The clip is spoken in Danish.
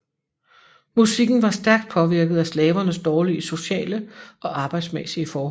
Musikken var stærkt påvirket af slavernes dårlige sociale og arbejdsmæssige forhold